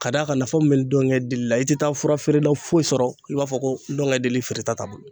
K'a d'a kan nafa min be dɔnkɛ deli la , i tɛ taa fura feerela foyi sɔrɔ ,i b'a fɔ ko dɔnkɛ lili feere ta t'a bolo.